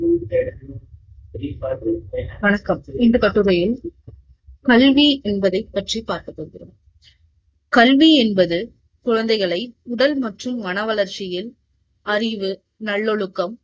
வணக்கம்இந்த கட்டுரையில் கல்வி என்பதை பற்றி பார்க்க போகிறோம். கல்வி என்பது குழைந்தைகளை உடல் மற்றும் மன வளர்ச்சியில் அறிவு, நல்லொழுக்கம்